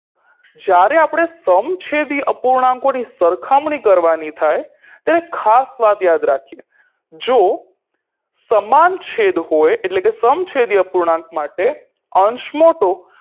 જ્યારે આપણે સમછેદી અપૂર્ણાંકોની સરખામણી કરવાની થાય ત્યારે ખાસ વાત યાદ રાખીએ જો સમાન છેદ હોય એટલે કે સમછેદી અપૂર્ણાંક માટે અંશ મોટો